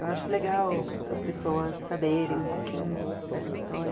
Eu acho legal as pessoas saberem um pouquinho da história.